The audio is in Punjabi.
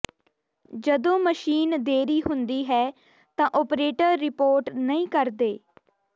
ਜਦੋਂ ਮਸ਼ੀਨ ਦੇਰੀ ਹੁੰਦੀ ਹੈ ਤਾਂ ਓਪਰੇਟਰ ਰਿਪੋਰਟ ਨਹੀਂ ਕਰਦੇ